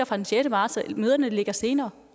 fra den sjette marts og møderne ligger senere